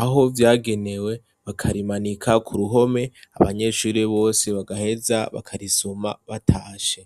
aho vyagenewe bakarimanika ku ruhome abanyeshuri bose bagaheza bakarisoma batashe